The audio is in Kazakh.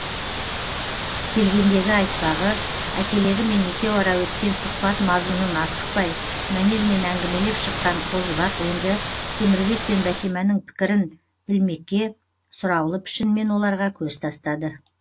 келгендегі айтпағы әкелерімен екеуара өткен сұхбат мазмұнын асықпай мәнермен әңгімелеп шыққан қозыбақ енді темірбек пен бәтиманың пікірін білмекке сұраулы пішінмен оларға көз тастады